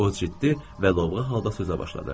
o ciddi və lovğa halda sözə başladı.